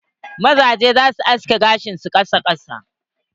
Mazajen za su haske gashin su na ƙasa ƙasa.